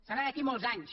serà d’aquí a molts anys